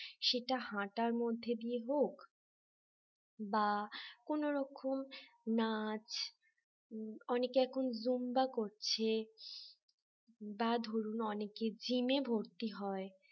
সেটা হাঁটার মধ্যে দিয়ে হোক বা কোন রকম নাচ অনেকে এখন Zumba করছে বা ধরুন অনেকে gym ভর্তি হয়